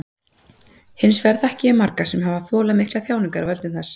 Hins vegar þekki ég marga sem hafa þolað miklar þjáningar af völdum þess.